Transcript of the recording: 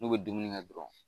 N'u bɛ dumuni kɛ dɔrɔn